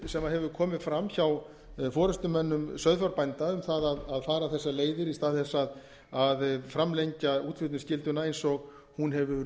sem hefur komið fram hjá forustumönnum sauðfjárbænda um það að fara þessar leiðir í stað þess að framlengja útflutningsskylduna eins og hún hefur